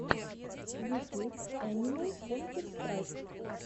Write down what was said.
ютюб энимал контэр страйк